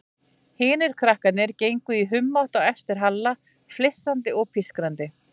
Hinir krakkarnir gengu í humátt á eftir Halla, flissandi og pískrandi.